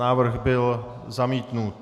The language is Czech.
Návrh byl zamítnut.